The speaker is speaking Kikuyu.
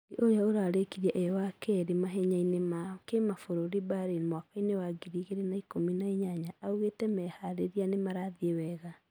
Mwangi ũria ũrarekirĩe e wa kerĩ mahenya-ĩnĩ ma kĩmafũrũri Berlin mwaka-ĩnĩ wa 2018 augete meharĩria ni marathie wega